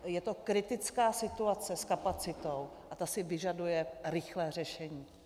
Je to kritická situace s kapacitou a ta si vyžaduje rychlé řešení.